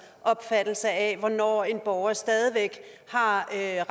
opfattelse af hvornår en borger stadig væk har